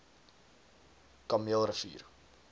kameelrivier